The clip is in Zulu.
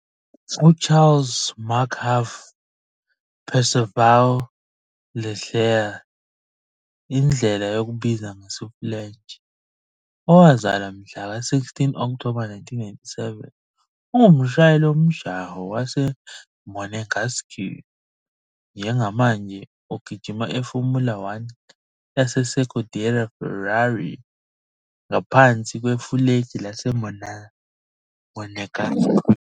UCharles Marc Hervé Perceval Leclerc, indlela yokubiza ngesiFulentshi, owazalwa ngomhla ka-16 Okthoba 1997 ungumshayeli womjaho waseMonégasque, njengamanje ogijima eFormula One yeScuderia Ferrari, ngaphansi kwefulegi laseMonégasque.